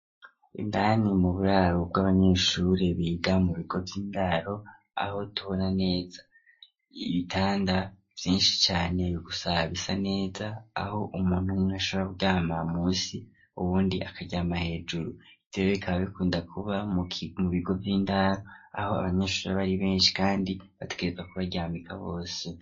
Indani mu buraro bw'abanyeshure biga mu bigo vy'indaro aho tubona neza ibitanda vyinshi cane gusa bisa neza aho umuntu ashora kuryama musi uwundi akaja amaja hejuru bikunda kuba mu bigo vy'indaro aho abanyeshure abari benshi kandi bategerezwa kubaryamika bose.